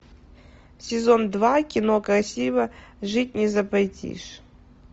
сезон два кино красиво жить не запретишь